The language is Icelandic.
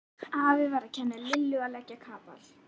Afi var að kenna Lillu að leggja kapal.